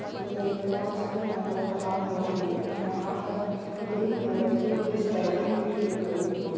यह एक कांच के अंदर रखा हुआ है। यहाँ पर ग्रीन कलर की कुछ लाइटिंग भी की गयी है।